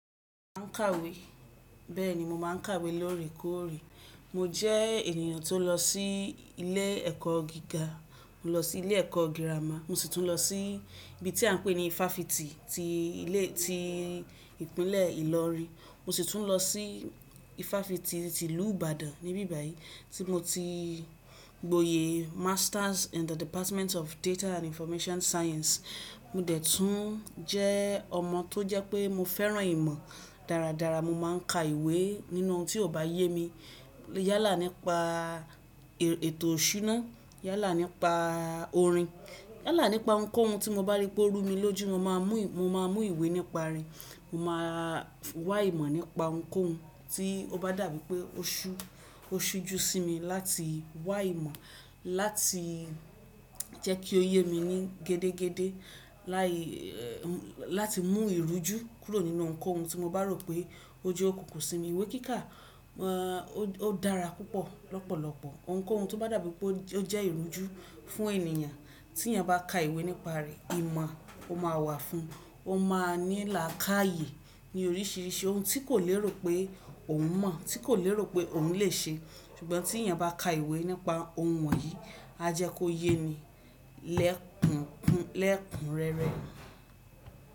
Máa ń kàwé, bẹ́ẹ̀ ni mo máa ń kàwé lóòrèkóòrè. Mo jẹ́ ènìyàn tó lọ sí ilé ẹ̀kọ́ gíga, mo lọ sí ilé ẹ̀kọ́ girama, mo sì tún lọ sí ibi tí à ń pè ní ifáfitì ti ilé ti Ìpínlẹ̀ Ìlọrin. Mo sì tún lọ sí ifáfitì ti ìlú Ìbàdàn níbí báyìí tí mo ti gboyè Masters in the Department of Data and Information Science. Mo dẹ̀ tún jẹ́ ọmọ tó jẹ́ pé mo fẹ́ràn ìmọ̀ dáradára, mo máa ń ka ìwé nínú ohun tí ò bá yé mi. Yálà nípa ètò ọ̀ṣúná, yálà nípa orin, yálà nípa ohunkóhun tí mo bá rí pé ó rú mi lójú, mo máa mú ìwé nípa rẹ̀. Mo máa wá ìmọ̀ nípa ohunkóhun tí ó bá dàbí pé ó ṣú, ó sú ju sí mi láti wá ìmọ̀, láti jẹ́ kí ó yé mi ní gédégédé, láti mú ìrújú kúrò nínú ohunkóhun tí mo bá rò pé ó jẹ́ òkùnkùn sí mi. Ìwé kíkà, ẹ́, ó dára púpọ̀ lọ́pọ̀lọpọ̀. Ohunkóhun tó bá dàbí pé ó jẹ́ ìrújú fún ènìyàn, tí ẹni bá ka ìwé nípa rẹ̀, ìmọ̀ ó máa wà fún un. Ó máa nílà káye ní oríṣiríṣi ohun tí kò lérò pé òun mọ̀, tí kò lérò pé òun lè ṣe. Ṣùgbọ́n tí ẹni bá ka ìwé nípa ohun wọ̀nyí, a jẹ́ kó yé ni lẹ́kùn, lẹ́kùn rẹ́rẹ́.